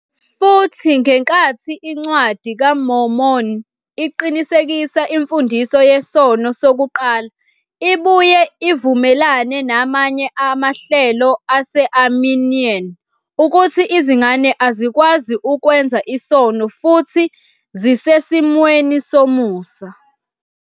Futhi, ngenkathi iNcwadi kaMormoni iqinisekisa imfundiso yesono sokuqala, ibuye ivumelane namanye amahlelo ase-Arminian ukuthi izingane azikwazi ukwenza isono futhi zisesimweni somusa.